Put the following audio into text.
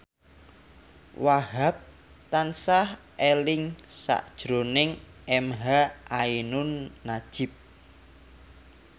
Wahhab tansah eling sakjroning emha ainun nadjib